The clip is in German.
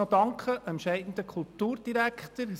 Ich möchte dem scheidenden Kulturdirektor nochmals danken.